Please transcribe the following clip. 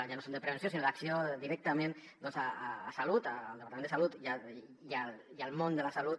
ja no són de prevenció sinó d’acció directament a salut al departament de salut i al món de la salut